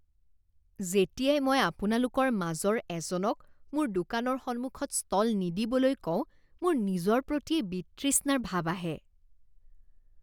যেতিয়াই মই আপোনালোকৰ মাজৰ এজনক মোৰ দোকানৰ সন্মুখত ষ্টল নিদিবলৈ কওঁ মোৰ নিজৰ প্ৰতিয়েই বিতৃষ্ণাৰ ভাৱ আহে।